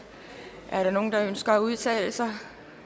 er der nogen der ønsker at udtale sig